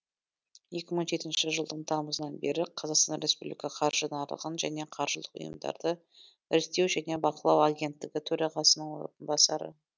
екі мың жетінші жылдың тамызынан бері қазақстан республика қаржы нарығын және қаржылық ұйымдарды реттеу және бақылау агенттігі төрағасының орынбасары